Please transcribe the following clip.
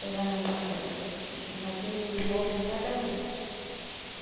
Pegava a mão e olha aqui, uma dúzia de bolo em cada uma.